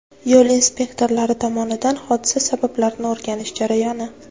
Yo‘l inspektorlari tomonidan hodisa sabablarini o‘rganish jarayoni.